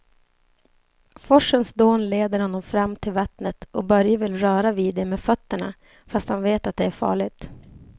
Forsens dån leder honom fram till vattnet och Börje vill röra vid det med fötterna, fast han vet att det är farligt.